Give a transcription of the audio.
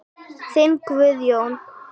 Þinn Guðjón.